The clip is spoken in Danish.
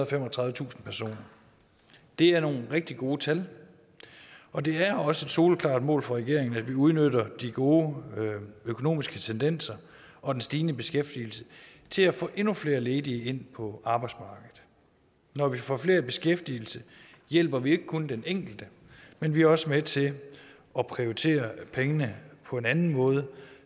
og femogtredivetusind personer det er nogle rigtig gode tal og det er også et soleklart mål for regeringen at vi udnytter de gode økonomiske tendenser og den stigende beskæftigelse til at få endnu flere ledige ind på arbejdsmarkedet når vi får flere i beskæftigelse hjælper vi ikke kun den enkelte men vi er også med til at prioritere pengene på en anden måde